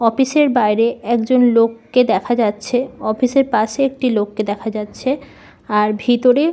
office -এর বাইরে একজন লোক কে দেখা যাচ্ছে অফিস -এর পাশে একজন লোককে দেখা যাচ্ছে আর ভিতরে--